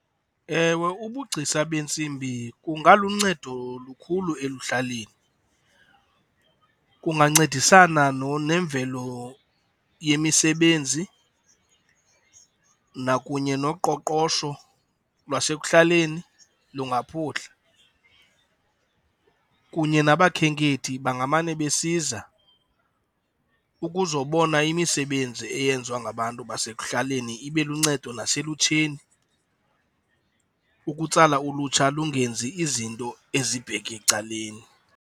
Ewe, ubugcisa beentsimbi kungaluncedo lukhulu ekuhlaleni. Kungancedisana nenvelo yemisebenzi nakunye noqoqosho lwasekuhlaleni lungaphuhla. Kunye nabakhenkethi, bangamane besiza ukuzobona imisebenzi eyenziwa ngabantu basekuhlaleni. Ibe luncedo naselutsheni, ukutsala ulutsha lungenzi izinto ezibheke ecaleni.